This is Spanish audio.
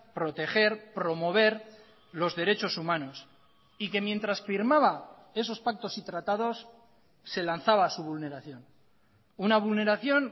proteger promover los derechos humanos y que mientras firmaba esos pactos y tratados se lanzaba su vulneración una vulneración